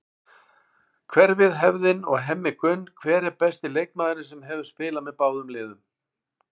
Hverfið, hefðin og Hemmi Gunn Hver er besti leikmaðurinn sem hefur spilað með báðum liðum?